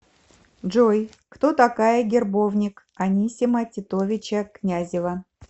джой кто такая гербовник анисима титовича князева